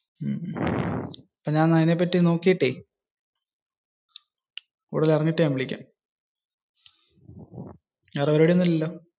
എന്നാ ഞാൻ അതിനെ പറ്റി നോക്കിയിട്ടേ, കൂടുതൽ അറിഞ്ഞിട്ട് ഞാൻ വിളികാം. വേറെ പരിപാടി ഒന്നുമില്ലല്ലോ?